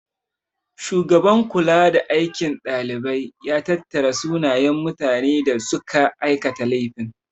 Shugaban kulada aikin dalibai ya tattara sunayen mutane da suka aikata laifin.